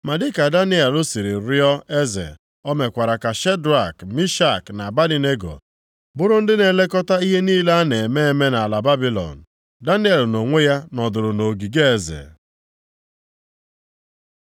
Ma dịka Daniel siri rịọ eze, o mekwara ka Shedrak, Mishak na Abednego bụrụ ndị na-elekọta ihe niile a na-eme eme nʼala Babilọn, Daniel nʼonwe ya nọdụrụ nʼogige eze.